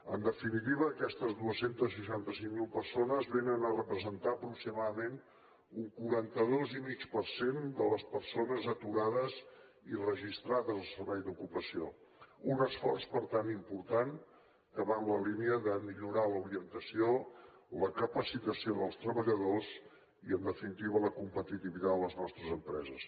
en definitiva aquestes dos cents i seixanta cinc mil persones vénen a representar aproximadament un quaranta dos i mig per cent de les persones aturades i registrades al servei d’ocupació un esforç per tant important que va en la línia de millorar l’orientació la capacitació dels treballadors i en definitiva la competitivitat de les nostres empreses